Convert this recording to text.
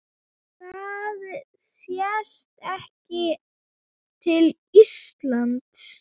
Það sést ekki til lands.